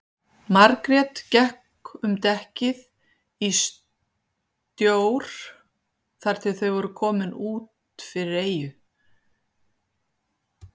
Margrét gekk um dekkið í stjór þar til þau voru komin út fyrir eyju.